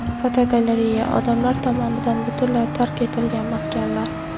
Fotogalereya: Odamlar tomonidan butunlay tark etilgan maskanlar.